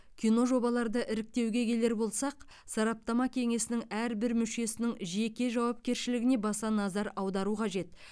киножобаларды іріктеуге келер болсақ сараптама кеңесінің әрбір мүшесінің жеке жауапкершілігіне баса назар аудару қажет